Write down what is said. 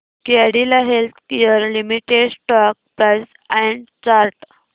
Cadila healthcare limited stock price and chart